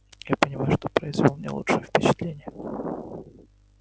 я понимаю что произвёл не лучшее впечатление